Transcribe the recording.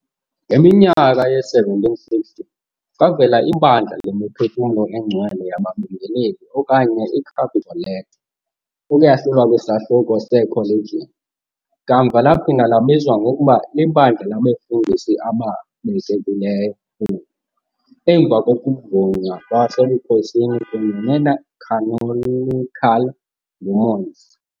Ngeminyaka yee-1760, kwavela iBandla Lemiphefumlo Engcwele Yababingeleli okanye iCapitoletto, ukuyahlula kwiSahluko seeCollegiant, kamva laphinda labizwa ngokuba liBandla Labefundisi Ababekekileyo, oku, emva kokuvunywa kwasebukhosini kunye necanonical nguMons.